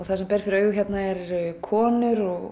það sem ber fyrir augu hérna eru konur og